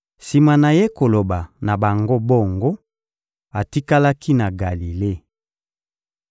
Sima na Ye koloba na bango bongo, atikalaki na Galile.